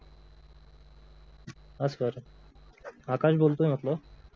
हा सर आकाश बोलतोय म्हंटलं